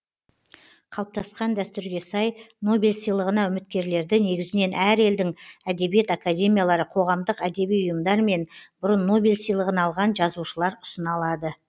қалыптасқан дәстүрге сай нобель сыйлығына үміткерлерді негізінен әр елдің әдебиет академиялары қоғамдық әдеби ұйымдар мен бұрын нобель сыйлығын алған жазушылар ұсына алады